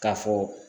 K'a fɔ